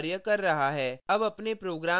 हाँ यह कार्य कर रहा है